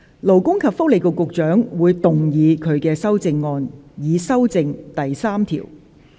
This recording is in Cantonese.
勞工及福利局局長會動議他的修正案，以修正第3條。